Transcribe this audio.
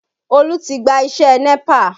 Olú ti gba iṣẹ́ NEPA